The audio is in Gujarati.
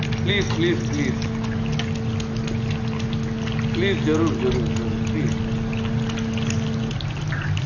Please please please please જરૂર જરૂર જરૂર please please